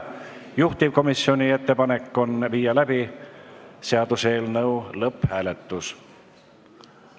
Juhtivkomisjoni ettepanek on viia läbi seaduseelnõu lõpphääletus.